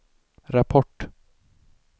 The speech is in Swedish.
rapport